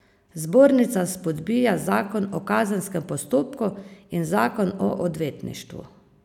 Zbornica spodbija zakon o kazenskem postopku in zakon o odvetništvu.